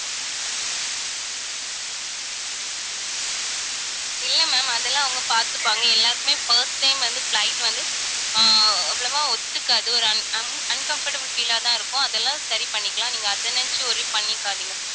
இல்ல ma'am அதெல்லாம் அவங்க பாத்துப்பாங்க. எல்லாருக்குமே first time வந்து flight வந்து ஆஹ் அவ்வளவா ஒத்துக்காது. ஒரு un~ un~ uncomfortable feel ஆதான் இருக்கும். அதெல்லாம் சரி பண்ணிக்கலாம். நீங்க அதை நினைச்சு worry பண்ணிக்காதீங்க